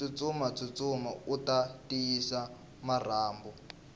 tsutsuma tsutsuma uta tiyisa marhambu